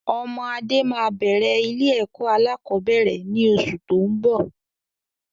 Ọmọ Adé máa bẹ̀rẹ̀ ilé ẹ̀kọ́ alakọ̀bẹ́ẹ́rẹ̀ ni oṣù tóun bọ̀.